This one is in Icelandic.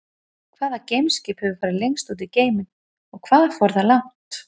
Hvaða geimskip hefur farið lengst út í geiminn og hvað fór það langt?